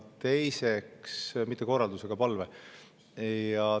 Mitte korralduse, vaid palve.